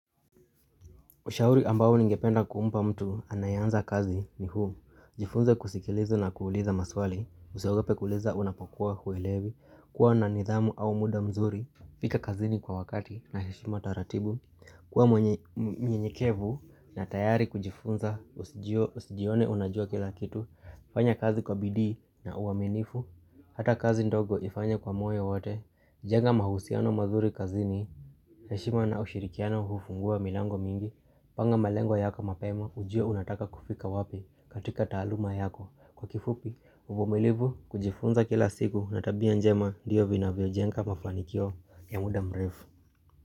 Ushauri ambao ningependa kumpa mtu anayeanza kazi ni huu, jifunze kusikiliza na kuuliza maswali, usiogope kuuliza unapakuwa huelewi, kuwa na nidhamu au muda mzuri, fika kazini kwa wakati na heshima taratibu, kuwa mwenye mnyenyekevu na tayari kujifunza, usijione unajua kila kitu, fanya kazi kwa bidii na uaminifu, hata kazi ndogo ifanye kwa moyo wote, jenga mahusiano mazuri kazini, heshima na ushirikiano hufungua milango mingi, Panga malengo yako mapema ujue unataka kufika wapi katika taaluma yako Kwa kifupi, uvumilivu kujifunza kila siku na tabia njema ndio vinavyojenga mafanikio ya muda mrefu.